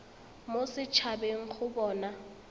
mo set habeng go bona